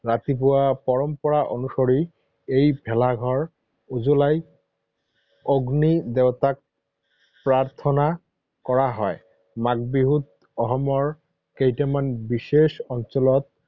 ৰাতিপুৱা পৰম্পৰা অনুসৰি এই ভেলাঘৰ জ্বলাই অগ্নিৰ দেৱতাক প্ৰাৰ্থনা কৰা হয়। মাঘ বিহুত অসমৰ কেইটামান বিশেষ অঞ্চলত